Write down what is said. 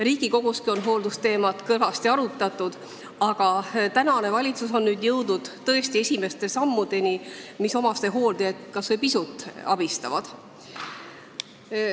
Riigikoguski on hooldusteemat kõvasti arutatud ja praegune valitsus on nüüd jõudnud tõesti esimeste sammudeni, mis omastehooldajaid kas või pisutki abistavad.